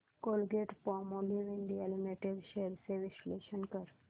Colgate Palmolive India limited shares चे विश्लेषण कर